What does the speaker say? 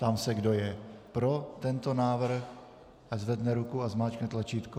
Ptám se, kdo je pro tento návrh, ať zvedne ruku a zmáčkne tlačítko.